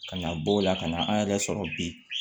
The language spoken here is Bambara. Ka na bɔ o la ka na an yɛrɛ sɔrɔ bi